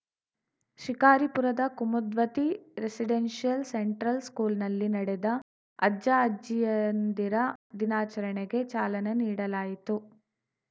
ಶಿಕಾರಿಪುರದ Kumudvathi residential central ಸ್ಕೂಲ್‌ನಲ್ಲಿ ನಡೆದ ಅಜ್ಜಅಜ್ಜಿಯಂದಿರ ದಿನಾಚರಣೆಗೆ ಚಾಲನೆ ನೀಡಲಾಯಿತು